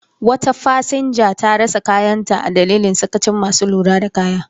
Wata fasinja ta rasa kayanta a dalilin sakacin masu lura da kaya.